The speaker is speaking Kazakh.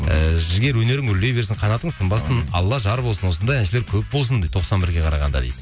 ііі жігер өнерің өрлей берсін қанатың сынбасын алла жар болсын осындай әншілер көп болсын дейді тоқсан бірге қарағанда дейді